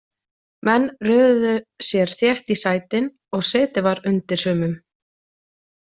Menn röðuðu sér þétt í sætin og setið var undir sumum.